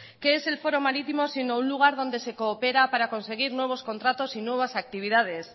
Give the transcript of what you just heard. qué es el foro marítimo sino un lugar donde se coopera para conseguir nuevos contratos y nuevas actividades